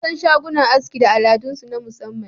An san shagunan aski da al'adunsu na musamman